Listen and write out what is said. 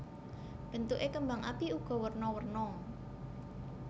Bentuké kembang api uga werna werna